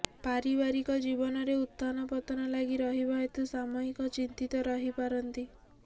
ପାରିବାରିକ ଜୀବନରେ ଉତ୍ଥାନ ପତନ ଲାଗି ରହିବା ହେତୁ ସାମୟିକ ଚିନ୍ତିତ ରହିପାରନ୍ତି